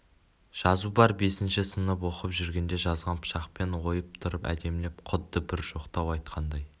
жазу бар бесінші сынып оқып жүргенде жазған пышақпен ойып тұрып әдемілеп құдды бір жоқтау айтқандай